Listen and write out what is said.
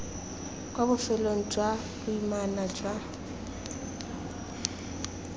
kwa bofelong jwa boimana jwa